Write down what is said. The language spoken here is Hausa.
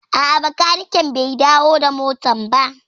A'a, bakaniken bai dawo da motar ba